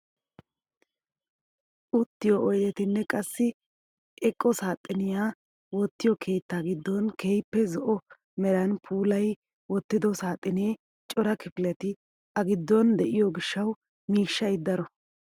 Uttiyoo oydetanne qassi eqo saaxiniyaa oottiyoo keettaa giddon keehippe zo'o meran puulayi wottido saaxinee cora kifileti a giddon de'iyoo gishshawu mishshay daro!